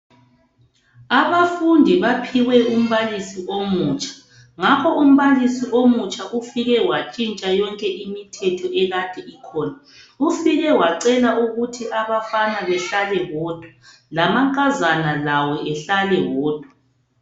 Abafundi baphiwe umbalisi omutsha ngakho umbalisi omutsha ufike wantshintsha yonke imithetho ekade ikhona. Ufike wacela ukuthi abafana behlale bodwa, lamankazana lawo ehlale wodwa.